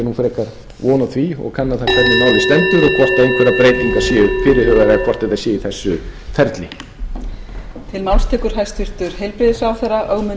frekar von á því og kanna það málið stendur og hvort einhverjar breytingar séu fyrirhugaðar eða hvort þetta sé í þessu ferli